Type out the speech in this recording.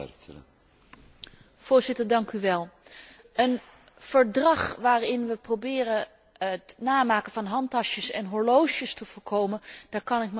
Voorzitter, een verdrag waarmee we proberen het namaken van handtassen en horloges te voorkomen, daar kan ik me wat bij voorstellen.